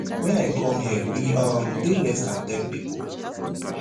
wen i come here we um dey less dan ten pipo